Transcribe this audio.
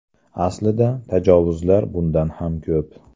Aslida, tajovuzlar bundan ham ko‘p.